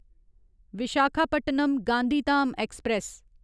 Visakhapatnam Gandhidham express